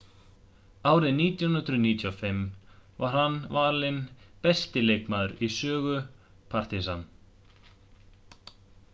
árið 1995 var hann valinn besti leikmaður í sögu partizan